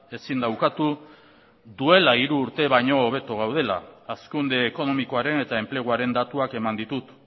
ezin da ukatu duela hiru urte baino hobeto gaudela hazkunde ekonomikoaren eta enpleguaren datuak eman ditut